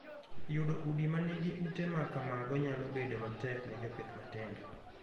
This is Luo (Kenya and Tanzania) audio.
Yudo udi ma nigi ute ma kamago nyalo bedo matek ne jopith matindo.